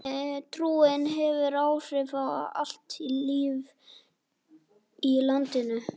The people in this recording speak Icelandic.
Trúin hefur áhrif á allt líf í landinu.